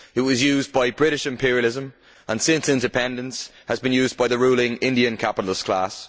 It was used by British imperialism, and since independence has been used by the ruling Indian capitalist class.